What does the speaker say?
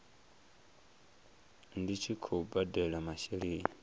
ndi tshi khou badela masheleni